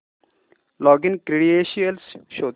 login credentials शोध